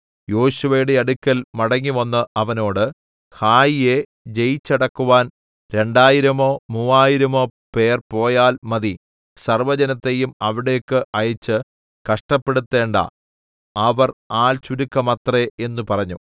യോശുവയുടെ അടുക്കൽ മടങ്ങിവന്ന് അവനോട് ഹായിയെ ജയിച്ചടക്കുവാൻ രണ്ടായിരമോ മൂവായിരമോ പേർ പോയാൽ മതി സർവ്വജനത്തെയും അവിടേക്ക് അയച്ച് കഷ്ടപ്പെടുത്തേണ്ടാ അവർ ആൾ ചുരുക്കമത്രേ എന്ന് പറഞ്ഞു